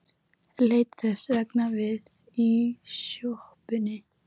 Leit þess vegna við í sjoppunni.